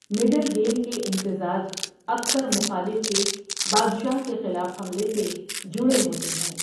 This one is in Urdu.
مڈل گیم کے امتزاج اکثر مخالف کے بادشاہ کے خلاف حملے سے جڑے ہوتے ہیں۔